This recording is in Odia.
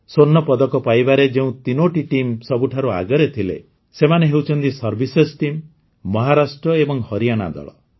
ସ୍ୱର୍ଣ୍ଣପଦକ ପାଇବାରେ ଯେଉଁ ୩ଟି ଟିମ୍ ସବୁଠାରୁ ଆଗରେ ଥିଲେ ସେମାନେ ହେଉଛନ୍ତି Servicesଟିମ୍ ମହାରାଷ୍ଟ୍ର ଏବଂ ହରିୟାଣା ଦଳ